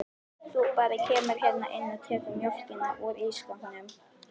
Þú bara kemur hérna inn og tekur mjólkina úr ísskápnum.